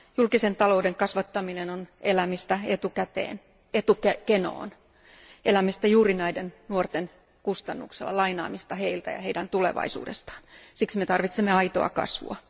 Julkisen talouden kasvattaminen on elämistä etukenoon, elämistä juuri näiden nuorten kustannuksella, lainaamista heiltä ja heidän tulevaisuudestaan, siksi me tarvitsemme aitoa kasvua.